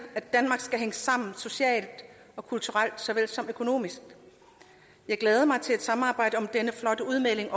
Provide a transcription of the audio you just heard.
at danmark skal hænge sammen socialt og kulturelt såvel som økonomisk jeg glæder mig til at samarbejde om denne flotte udmelding